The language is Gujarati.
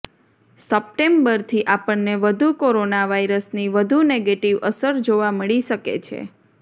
સપ્ટેમ્બરથી આપણને કોરોના વાઇરસની વધુ નેગેટિવ અસર જોવા મળી શકે છે